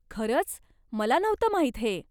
खरंच? मला नव्हतं माहीत हे.